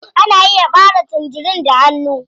Ana iya ɓare tangerin da hanu.